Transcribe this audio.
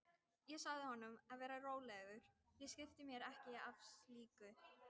En þá tóku Frakkarnir öll völd á leiknum og röðuðu inn mörkum.